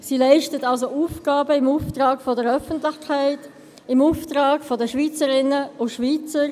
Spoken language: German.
Sie leistet also Aufgaben im Auftrag der Öffentlichkeit, im Auftrag der Schweizerinnen und Schweizer.